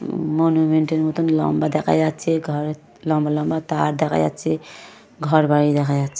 মনুমেন্টের মতোন লম্বা দেখা যাচ্ছে। ঘর লম্বা লম্বা তার দেখা যাচ্ছে। ঘর বাড়ি দেখা যাচ্ছে।